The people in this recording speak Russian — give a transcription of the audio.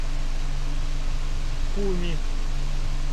куми